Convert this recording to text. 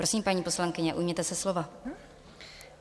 Prosím, paní poslankyně, ujměte se slova.